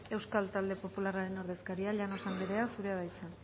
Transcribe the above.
euskal talde popularraren ordezkaria llanos andrea zurea da hitza